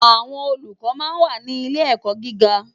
Àwòn ólúkò má n wá ni ilé èkò gigá